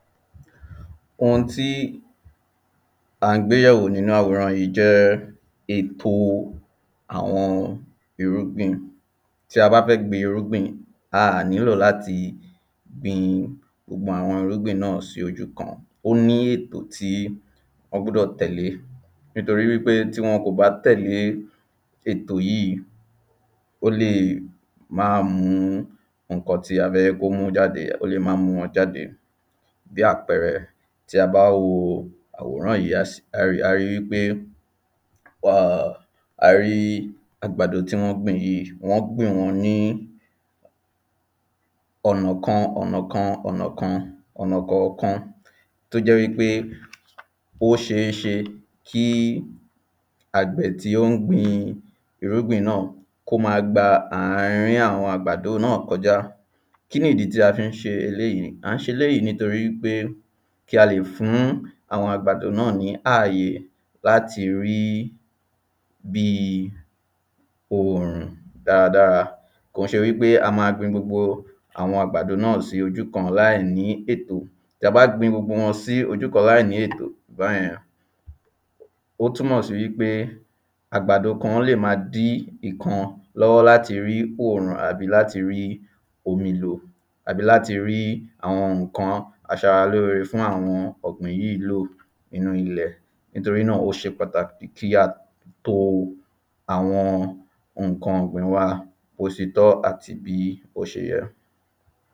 ohun tí à ń gbéyẹ̀wò nínú àwòrán yìí jẹ́ ètò àwọn irúgbìn tí a bá fẹ́ gbin irúgbìn, a à nílò láti gbin gbogbo àwọn irúgbìn náà sí ojú kan, ó ní ètò tí wọ́n gbúdọ̀ tẹ̀lé nítorí wípé tí wọn kò bá tẹ̀lé ètò yìí ó lè máà mú nǹkan tí a fẹ́ hẹ́ kó mú jáde, ó lè máà mú wọn jáde bí àpẹẹrẹ, tí a bá wo àwòrán yìí a rí wípé a rí àgbàdo tí wọn gbìn yìí wọ́n gbìn wọ́n ní ọ̀nà kan ọ̀nà kan ọ̀nà kan, ọ̀nà kọ̀ọ̀kan tó jẹ wípé ó ṣeéṣe kí àgbẹ̀ tí ó ń gbin àwọn irúgbìn náà, kó máa gba àárín àwọn àgbàdo náà kọjá kí nìdí tí a fí ń ṣe eléyìí? à ń ṣe eléyìí nítorí wípé ki a lè fún àwọn àgbàdo náà ní ààyè láti rí bíi òòrùn dáradára kò ń ṣe wípé a máa gbin gbogbo àwọn àgbàdo náà láìní ètò ta bá gbin gbogbo wọn sí ojú kan láìní ètò báyẹn, ó túmọ̀ sí wípé, àgbàdo kan lè máa dí ìkan lọ́wọ́ láti rí òòrùn àbí láti rí omi lò àbí láti rí àwọn nǹkan aṣaráloore fún àwọn ọ̀gbìn yìí lò nínú ilẹ̀ nítorí náà ó ṣe pàtàkì kí á to àwọn nǹkan ọ̀gbìn wa bó se tọ́ àti bí ó ṣe yẹ